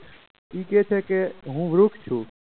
તે કહે છે હું વૃક્ષ છું.